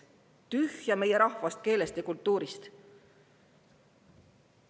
Tühja meie rahvast, keelest ja kultuurist!